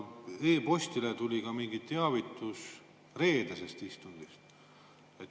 E‑postile tuli ka mingeid teavitusi reedese istungi kohta.